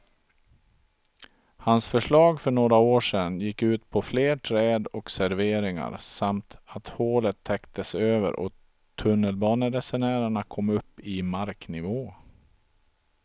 Hans förslag för några år sedan gick ut på fler träd och serveringar samt att hålet täcktes över och tunnelbaneresenärerna kom upp i marknivå.